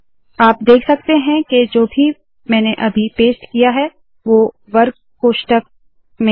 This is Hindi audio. आप देख सकते है के जो भी मैंने अभी पेस्ट किया है वोह वर्ग कोष्ठक में है